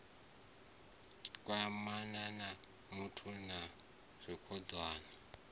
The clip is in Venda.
kwamana na muṱa na dzikhonani